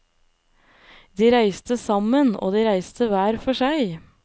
De reise sammen, og de reiste hver for seg.